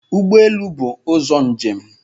Ụgbọ elu bụ ụzọ njem